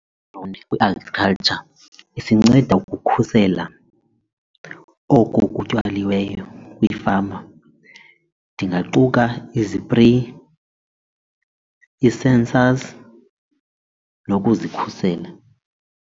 Kwi-agriculture isinceda ukukhusela oko kutyaliweyo kwiifama ndingaquka izipreyi, ii-sensors nokuzikhusela.